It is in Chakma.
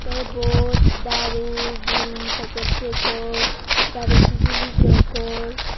tey ebot daru buri peket degong daru sijili degong.